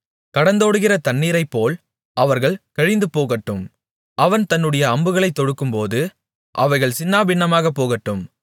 கடந்தோடுகிற தண்ணீரைப்போல் அவர்கள் கழிந்துபோகட்டும் அவன் தன்னுடைய அம்புகளைத் தொடுக்கும்போது அவைகள் சின்னபின்னமாகப் போகட்டும்